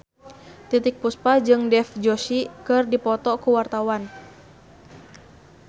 Titiek Puspa jeung Dev Joshi keur dipoto ku wartawan